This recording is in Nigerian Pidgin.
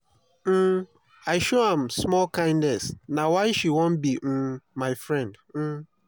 um i show am small kindness na why she wan be um my friend. um